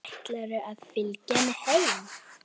Ætlarðu að fylgja henni heim?